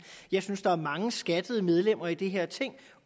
jeg synes der er mange skattede medlemmer i det her ting